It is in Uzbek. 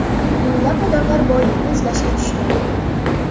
Minglab odamlar boylikni izlashga tushgan.